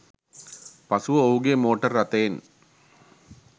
පසුව ඔහුගේ මෝටර් රථයෙන්